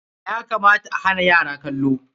Ya kamata a hana yara kallo.